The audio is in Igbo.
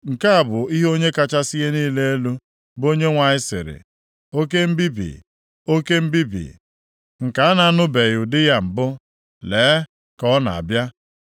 “Nke a bụ ihe Onye kachasị ihe niile elu, bụ Onyenwe anyị sịrị, “ ‘Oke mbibi, oke mbibi nke a na-anụbeghị ụdị ya mbụ. Lee, ka ọ na-abịa.